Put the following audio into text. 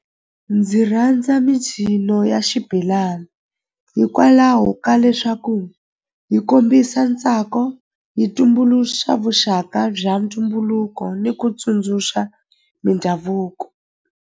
Ndzi rhandza micino ya xibelani hikwalaho ka leswaku yi kombisa ntsako yi tumbuluxa vuxaka bya ntumbuluko ni ku tsundzuxa mindhavuko.